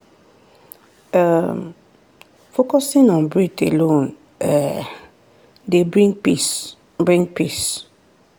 um focusing on breath alone um dey bring peace. bring peace.